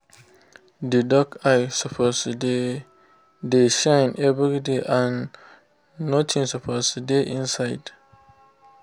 the duck eye suppose dey dey shine everyday and nothing suppose dey inside